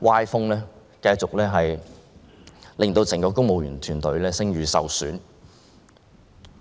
歪風，繼續令整個公務員團隊的聲譽受損。